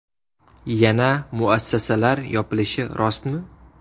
Yana muassasalar yopilishi rostmi?